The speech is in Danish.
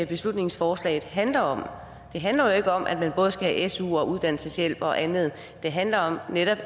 beslutningsforslaget handler om det handler ikke om at man både skal have su og uddannelseshjælp og andet det handler netop